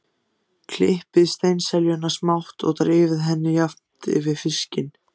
Klippið steinseljuna smátt og dreifið henni jafnt yfir fiskinn.